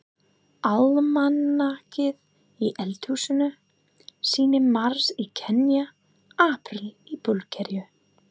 Almanakið í eldhúsinu sýnir mars í Kenýa, apríl í Búlgaríu.